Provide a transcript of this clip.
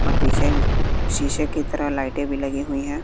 और पीछे शीशे की तरह लाइटें भी लगी हुई हैं।